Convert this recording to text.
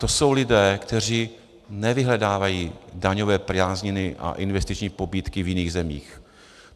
To jsou lidé, kteří nevyhledávají daňové prázdniny a investiční pobídky v jiných zemích.